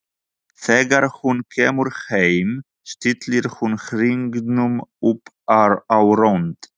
Þegar hún kemur heim stillir hún hringnum upp á rönd.